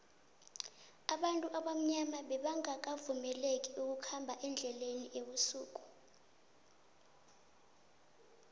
abantu abamnyama bebanqakavumeleki ukukhambe endleleni ebusuku